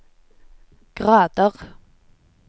grader